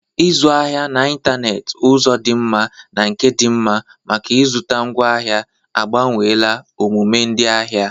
Ịzụ ahịa n'ịntanetị, ụzọ dị mma na nke dị mma maka ịzụta ngwaahịa, agbanweela omume ndị ahịa.